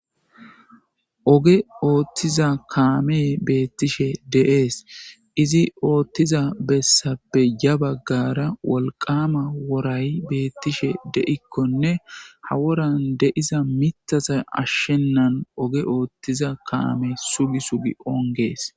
Oge otza kamey betishe de'es izi otiza besappe ya bagara wolqama woray betishe de'ikkonne ha woran de'za mithata ashenan oge othiza kame sugi sugi onges.